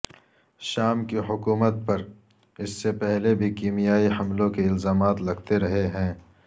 شام کی حکومت پر اس سے پہلے بھی کیمیائی حملوں کے الزامات لگتے رہے ہیں